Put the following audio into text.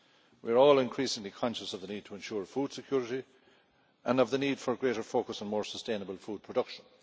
We are all increasingly conscious of the need to ensure food security and of the need for a greater focus on more sustainable food production.